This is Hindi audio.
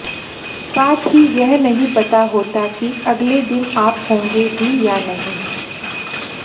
साथ ही यह नहीं पता होता कि अगले दिन आप होंगे भी या नहीं